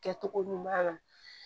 Kɛcogo ɲuman na